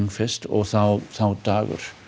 fyrst og þá þá dagur